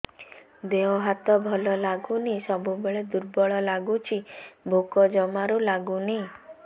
ଦେହ ହାତ ଭଲ ଲାଗୁନି ସବୁବେଳେ ଦୁର୍ବଳ ଲାଗୁଛି ଭୋକ ଜମାରୁ ଲାଗୁନି